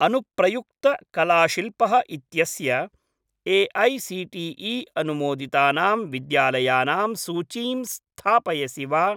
अनुप्रयुक्त कलाशिल्पः इत्यस्य ए.ऐ.सी.टी.ई. अनुमोदितानां विद्यालयानां सूचीं स्थापयसि वा?